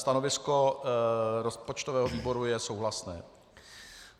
Stanovisko rozpočtového výboru je souhlasné.